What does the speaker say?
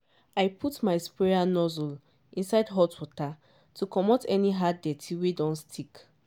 i put my sprayer nozzle inside hot water to comot any hard dirt wey don stick.